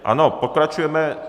Ano, pokračujeme.